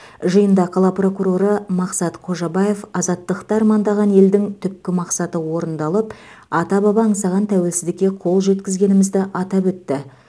жиында қала прокуроры мақсат қожабаев азаттықты армандаған елдің түпкі мақсаты орындалып ата баба аңсаған тәуелсіздікке қол жеткізгенімізді атап өтті